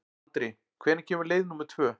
Andri, hvenær kemur leið númer tvö?